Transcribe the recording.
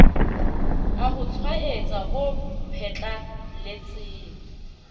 a ho tshwaetsa ho phatlalletseng